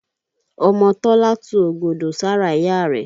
Ọmọ Tọ́lá tu ọ̀gọ̀dọ̀ sára ìyá rẹ̀.